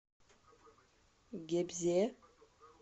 гебзе